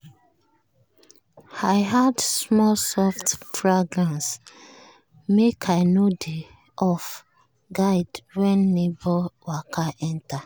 i add small soft fragrance make i no dey off-guard when neighbour waka enter.